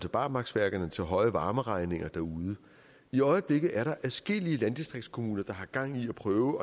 barmarksværkerne og til høje varmeregninger derude i øjeblikket er der adskillige landistriktskommuner der har gang i at prøve